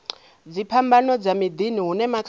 dziphambano dza miḓini hune makhadzi